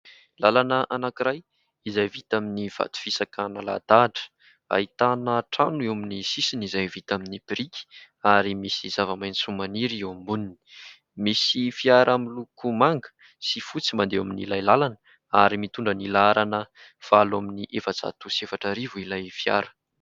Lalana anankiray izay vita amin'ny vato fisaka nalahadahatra, ahitana trano eo amin'ny sisiny izay vita amin'ny biriky ary misy zava-maitso maniry eo amboniny, misy fiara miloko manga sy fotsy mandeha ao amin'ilay lalana ary mitondra ny laharana valo amby ny efajato sy efatra arivo ilay fiara.